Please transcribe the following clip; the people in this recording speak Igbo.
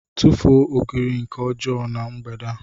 tufuo ogiri nke ọjọọ na mgbede a